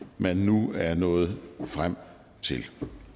man nu er nået frem til